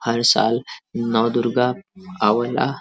हर साल नो दुर्गा आवेला।